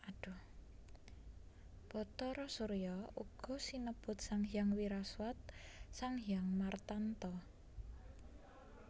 Bhatara Surya uga sinebut Sanghyang Wiraswat Sanghyang Martanta